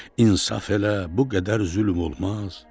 İnsaf elə, bu qədər zülm olmaz.